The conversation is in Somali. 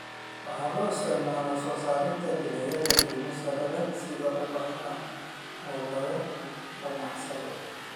Waxa loo isticmaalaa soo saarista dalagyo qiimo sare leh sida ubaxa oo laga ganacsado.